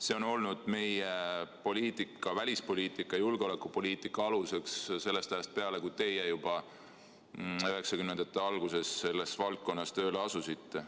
See on olnud meie välispoliitika ja julgeolekupoliitika alus juba sellest ajast peale, kui teie 1990-ndate alguses selles valdkonnas tööle asusite.